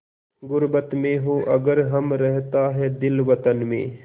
ग़ुर्बत में हों अगर हम रहता है दिल वतन में